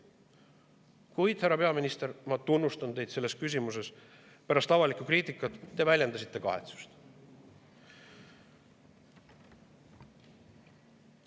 Kuid, härra peaminister, ma tunnustan teid selles küsimuses, sest pärast avalikku kriitikat te väljendasite kahetsust.